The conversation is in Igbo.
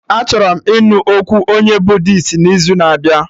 Achọrọ m ịnụ okwu onye Buddisti n'izu na abịa